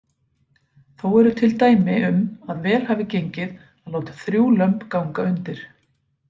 Þó eru til dæmi um að vel hafi gengið að láta þrjú lömb ganga undir.